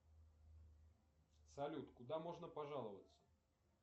салют куда можно пожаловаться